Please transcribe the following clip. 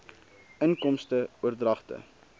inkomste oordragte